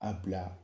A bila